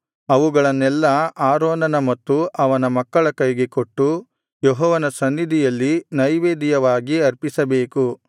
ಅವುಗಳನ್ನೆಲ್ಲಾ ಆರೋನನ ಮತ್ತು ಅವನ ಮಕ್ಕಳ ಕೈಗೆ ಕೊಟ್ಟು ಯೆಹೋವನ ಸನ್ನಿಧಿಯಲ್ಲಿ ನೈವೇದ್ಯವಾಗಿ ಅರ್ಪಿಸಬೇಕು